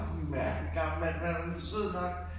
Mærkelig gammel mand men han var nu sød nok